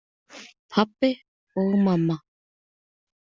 Pabbi og mamma.